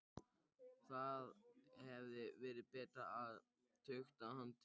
Það hefði verið betra að tukta hann til.